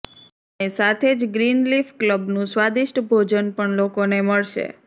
અને સાથે જ ગ્રીનલીફ કલબનું સ્વાદિષ્ટ ભોજન પણ લોકોને મળશે